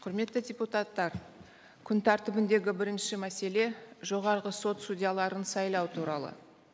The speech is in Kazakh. құрметті депутаттар күн тәртібіндегі бірінші мәселе жоғарғы сот судьяларын сайлау туралы